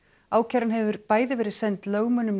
ákæran hefur bæði verið send lögmönnum